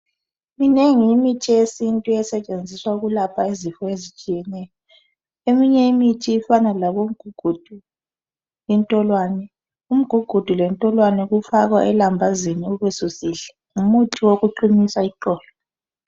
Minengi imithi yesintu esetshenziswa ukwelapha izifo ezitshiyeneyo. Iminye imithi ifana lomgugudu, intolwane. Umgugudu lentolwane kufaka elambazini ubusisindla. Ngumuthi wokuqinisa iqolo.